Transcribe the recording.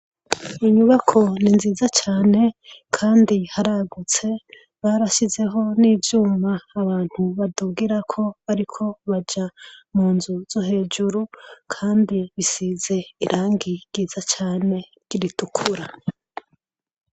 Inyubako ni nziza cane kandi haragutse, barashizeho n'ivyuma badugirako bariko baja mu nzu zo hejuru kandi risize irangi ryiza cane ritukura.